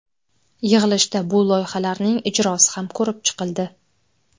Yig‘ilishda bu loyihalarning ijrosi ham ko‘rib chiqildi.